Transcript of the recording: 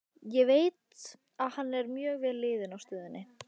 Ég veit að hann er mjög vel liðinn á stöðinni.